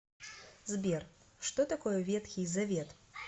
сбер что такое ветхий завет